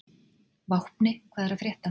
Vápni, hvað er að frétta?